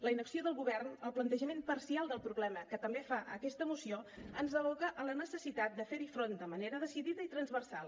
la inacció del govern el plantejament parcial del problema que també fa aquesta moció ens aboca a la necessitat de fer hi front de manera decidida i transversal